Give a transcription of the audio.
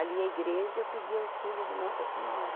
Ali a igreja eu pedia auxílio de Nossa Senhora.